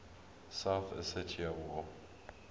south ossetia war